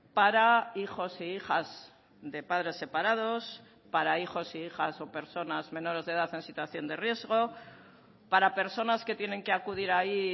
para hijos e hijas de padres separados para hijos e hijas o personas menores de edad en situación de riesgo para personas que tienen que acudir ahí